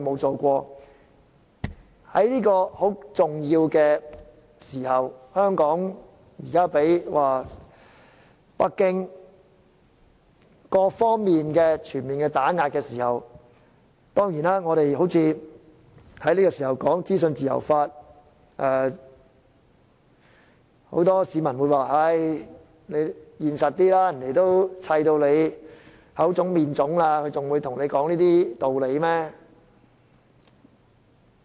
在這個嚴峻時刻，香港正遭北京全面打壓，而我們竟在這個時候討論資訊自由法，很多市民便勸我現實一點：他們已打到你口腫面腫，還會跟你說這些嗎？